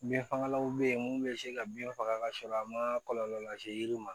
Bin fagalanw be yen mun be se ka bin faga ka sɔrɔ a ma kɔlɔlɔ lase yiri ma